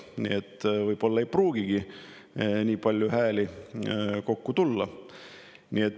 Nii et nii palju hääli ei pruugigi kokku tulla.